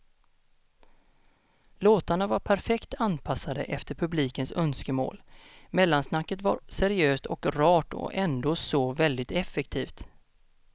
Låtarna var perfekt anpassade efter publikens önskemål, mellansnacket var seriöst och rart och ändå så väldigt effektivt.